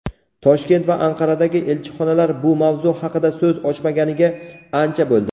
Toshkent va Anqaradagi elchixonalar bu mavzu haqida so‘z ochmaganiga ancha bo‘ldi.